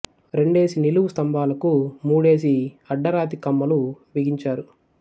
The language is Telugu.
రెండేసి నిలువు స్తంభాలకు మూడేసి అడ్డ రాతి కమ్మలు బిగించారు